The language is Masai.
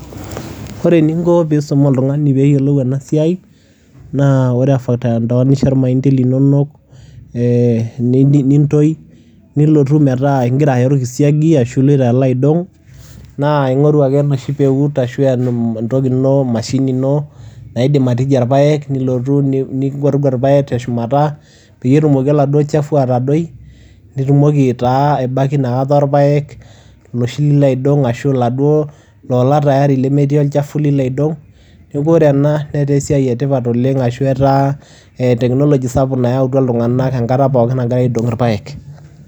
Ore eninko piisum oltung'ani peeyiolou ena siai naa ore intoanisha irmaindi linonok ee ni niintoi, nilotu metaa ing'ira ayaa orkisiagi ashu iloito alo aidong' naa ing'oru ake enoshi peut ashu entoki ino mashini ino naidim atija irpaek nilotu ni nigwargwar irpaek te shumata peyie etumoki oladuo chafu atadoi, nitumoki taa aibaki inakata orpaek iloshi lilo aidong' ashu iladuo loola tayari lemetii olchafu lilo aidong'. Neeku ore ena netaa esiai e tipat oleng' ashu etaa teknology sapuk nayautua iltung'anak enkata pookin nagira aidong' irpaek.